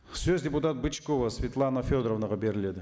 сөз депутат бычкова светлана федоровнаға беріледі